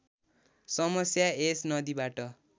समस्या यस नदीबाट